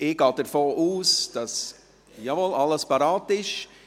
Ich gehe davon aus – jawohl –, dass alles parat ist.